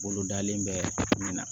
Bolo dalen bɛ min na